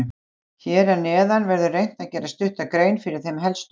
Hér að neðan verður reynt að gera stutta grein fyrir þeim helstu.